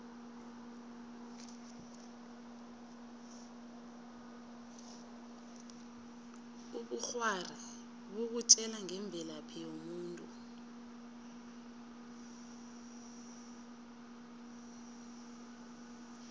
ubukghwari bukutjela ngemvelaphi yomuntu